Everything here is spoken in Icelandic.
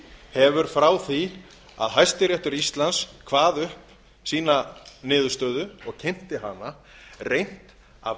hefur frá því að hæstiréttur íslands kvað upp sína niðurstöðu og kynnti hana reynt að